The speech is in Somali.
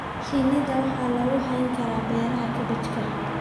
Shinida waxaa lagu hayn karaa beeraha kaabajka.